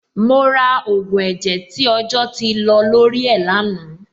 Mo ra ògùn ẹ̀jẹ̀ tí ọjọ́ ti lọ lórí ẹ̀ lánàá.